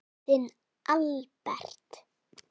Þinn Albert.